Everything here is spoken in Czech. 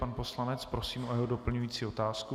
Pana poslance prosím o jeho doplňující otázku.